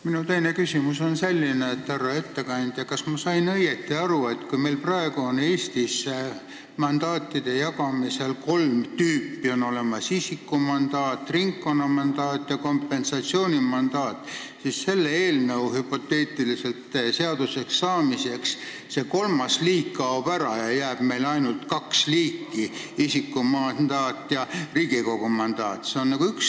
Minu teine küsimus on selline: härra ettekandja, kas ma sain õigesti aru, et kui meil praegu Eestis jaotatakse kolme tüüpi mandaate – isikumandaat, ringkonnamandaat ja kompensatsioonimandaat –, siis hüpoteetiliselt selle eelnõu seaduseks saamise korral kaob kolmas liik ära ja jääb ainult kaks: isikumandaat ja ringkonnamandaat?